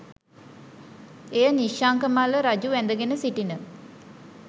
එය නිශ්ශංක මල්ල රජු වැදගෙන සිටින